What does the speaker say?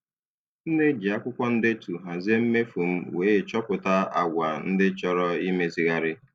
M na-eji akwụkwọ ndetu hazie mmefu m wee chọpụta àgwà ndị chọrọ imezigharị.